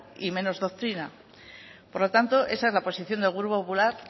y menos doctrina por lo tanto esa es la posición del grupo popular